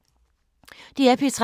DR P3